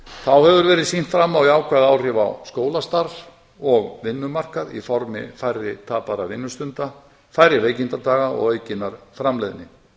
þá hefur verið sýnt fram á jákvæð áhrif á skólastarf og vinnumarkað í formi færri tapaðra vinnustunda færri veikindadaga og aukinnar framleiðni